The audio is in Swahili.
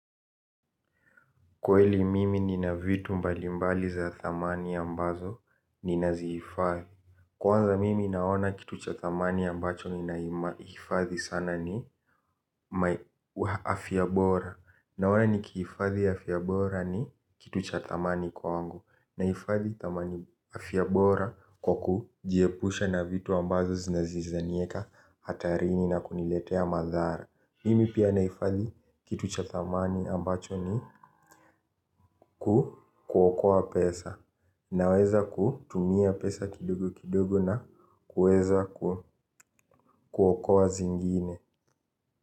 Kweli mimi ni na vitu mbalimbali za thamani ambazo ni naziifahe. Kwanza mimi naona kitu cha thamani ambacho ni naifathi sana ni afyabora. Naona ni kiifadhi afyabora ni kitu cha thamani kwa wangu. Naifadhi afiabora kwa ku jiepusha na vitu ambazo zinazizanieka hatarini na kuniletea madhara. Mimi pia naifadhi kitu cha thamani ambacho ni kuokoa pesa na weza kutumia pesa kidogo kidogo na kueza kuokoa zingine.